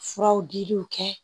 Furaw diliw kɛ